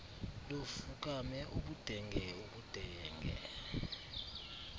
lufukame ubudenge ubudenge